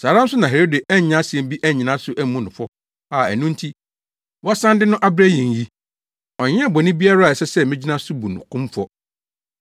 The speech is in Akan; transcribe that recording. Saa ara nso na Herode annya asɛm bi annyina so ammu no fɔ a ɛno nti, wasan de no abrɛ yɛn yi. Ɔnyɛɛ bɔne biara a ɛsɛ sɛ migyina so bu no kumfɔ.